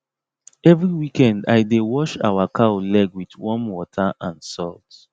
every weekend i dey wash our cow leg with warm water and salt